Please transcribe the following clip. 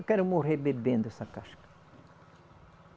Eu quero morrer bebendo essa casca.